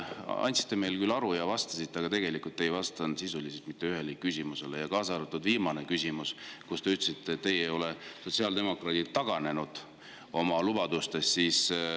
Andsite meile küll aru ja vastasite, aga tegelikult ei vastanud sisuliselt mitte ühelegi küsimusele, kaasa arvatud viimane küsimus, mille peale te ütlesite, et teie, sotsiaaldemokraadid, ei ole taganenud oma lubadustest.